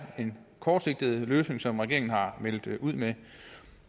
en kortsigtet løsning som regeringen har meldt ud med